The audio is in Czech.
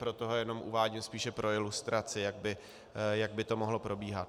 Proto ho jenom uvádím spíše pro ilustraci, jak by to mohlo probíhat.